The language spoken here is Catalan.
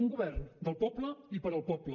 un govern del poble i per al poble